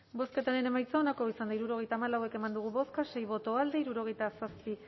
bozketaren emaitza onako izan da hirurogeita hamalau eman dugu bozka sei boto alde hirurogeita zazpi